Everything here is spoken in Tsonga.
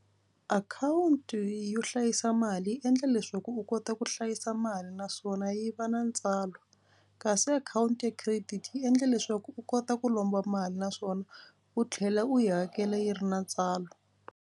Akhawunti yo hlayisa mali yi endla leswaku u kota ku hlayisa mali naswona yi va na ntswalo kasi akhawunti ya credit yi endle leswaku u kota ku lomba mali naswona u tlhela u yi hakela yi ri na ntswalo.